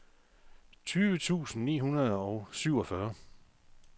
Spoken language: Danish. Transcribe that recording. tyve tusind ni hundrede og syvogfyrre